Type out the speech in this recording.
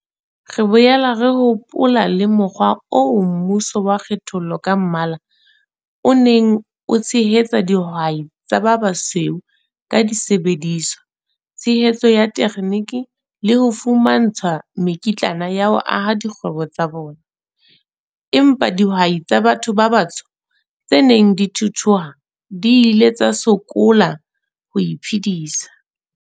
Re boela re hopola le mokgwa oo mmuso wa kgethollo ka mmala o neng o tshehetsa dihwai tsa ba basweu ka disebediswa, tshehetso ya thekheniki le ho fumantshwa mekitlana ya ho aha dikgwebo tsa bona, empa dihwai tsa batho ba batsho tse neng di thuthuha di ile tsa sokola ho iphedisa.